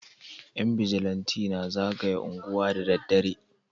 Yan bijilanti na zagaya anguwa da dare